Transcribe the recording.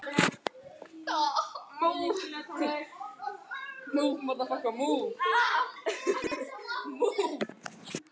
Hef heyrt orð þín áður.